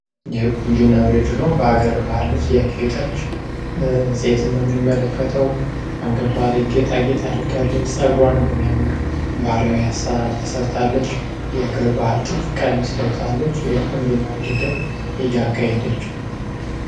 የቁንጅና ውድድር ነው በሀገር ባህል ልብስ ያጌጠች ሴትን ነው የምንመለከተው አንገቷ ላይ ጌጣ ጌጥ አድርጋለች። ጸጉሯን በሚያምር ባህላዊ አሰራር ተሰርታለች። የሀገር ባህል ልብስ ጥልፍ ለብሳለች፥ የቁንጅና ውድድር እያካሔደች ነው።